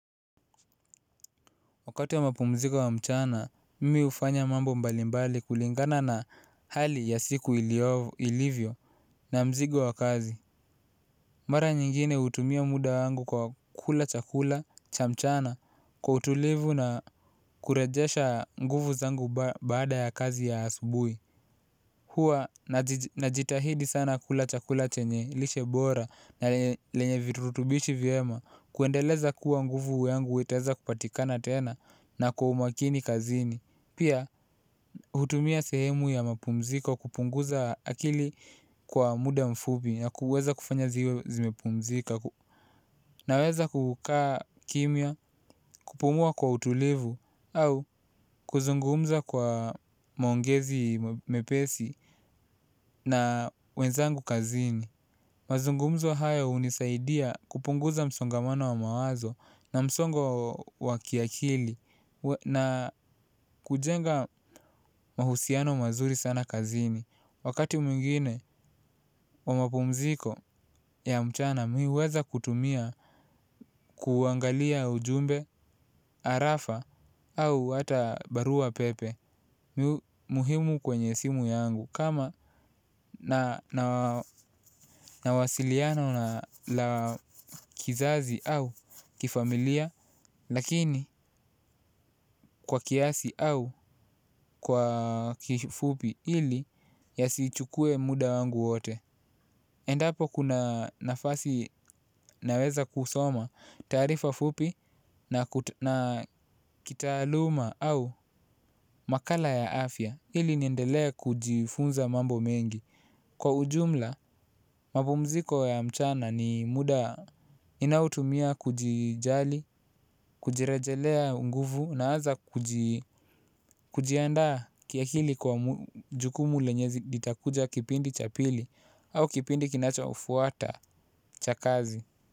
Wakati ya mapumziko ya mchana, mimi hufanya mambo mbalimbali kulingana na hali ya siku ilivyo na mzigo wa kazi. Mara nyingine hutumia muda wangu kwa kula chakula cha mchana kwa utulivu na kurejesha nguvu zangu baada ya kazi ya asubuhi. Huwa najitahidi sana kula chakula chenye, lishe bora na lenye virutubishi vyema kuendeleza kuwa nguvu yangu itaeza kupatikana tena na kwa umakini kazini. Pia hutumia sehemu ya mapumziko kupunguza akili kwa muda mfupi na kuweza kufanya ziwe zimepumzika. Naweza kukaa kimya kupumua kwa utulivu au kuzungumza kwa maongezi mepesi. Na wenzangu kazini mazungumzo haya hunisaidia kupunguza msongamano wa mawazo. Na msongo wa kiakili na kujenga mahusiano mazuri sana kazini. Wakati mwingine wa mapumziko ya mchana mi huweza kutumia kuangalia ujumbe, arafa. Au hata baruapepe. Muhimu kwenye simu yangu kama nina wasiliano la kizazi au kifamilia lakini kwa kiasi au kwa kifupi ili yasichukue muda wangu wote. Endapo kuna nafasi naweza kusoma taarifa fupi na kitaaluma au makala ya afya ili niendelee kujifunza mambo mengi. Kwa ujumla, mapumziko ya mchana ni muda ninaotumia kujijali, kujirejelea nguvu naanza kujiandaa kiakili kwa jukumu lenye litakuja kipindi cha pili au kipindi kinachofuata cha kazi.